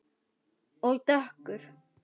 Og dökkur.